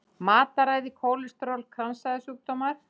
Matarræði, kólesteról, kransæðasjúkdómar.